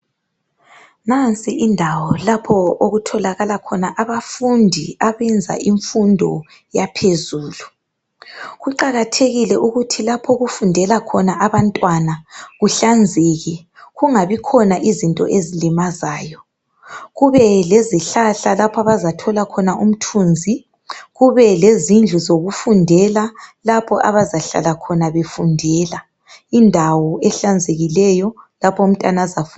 Nansi indawo lapho okutholakala khona abafundi abenza imfundo yaphezulu . Kuqakathekile ukuthi lapho okufundela khona abantwana kuhlanzeke. Kungabikhona izinto ezilimazayo. Kubelezihlahla, lapho abazathola khona umthunzi. Kubelezindlu zokufundela. Lapha abazahlala khona befundela. Indawo ehlanzekileyo, lapha umntwana azafunda kuhle khona.